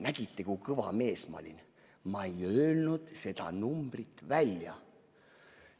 Nägite, kui kõva mees ma olin: ma ei öelnud seda numbrit välja!